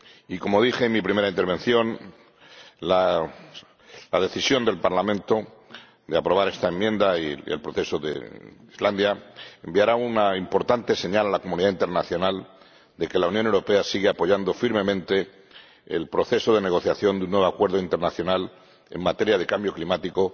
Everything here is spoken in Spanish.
Y, como dije en mi primera intervención, la decisión del Parlamento de aprobar esta enmienda y el proceso de Islandia enviará una importante señal a la comunidad internacional de que la Unión Europea sigue apoyando firmemente el proceso de negociación de un nuevo acuerdo internacional en materia de cambio climático,